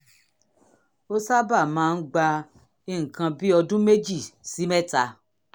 ó sábà máa ń gba nǹkan bí ọdún méjì sí mẹ́ta